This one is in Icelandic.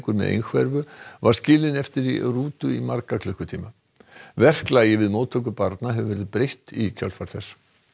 með einhverfu var skilinn eftir í rútu í marga klukkutíma verklagi við móttöku barna hefur verið breytt í kjölfar þess